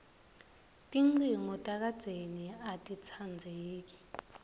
tincingo takadzeni atitsandzeki